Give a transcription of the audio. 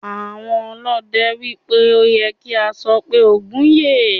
Àwọn ọlọ́dẹ ní pé ó ye kí a sọ pé "Ògún yè".